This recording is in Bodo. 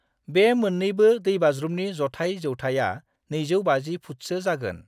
बे मोन्नैबो दैबाज्रुमनि जथाय जौथाया 250 फुटसो जागोन।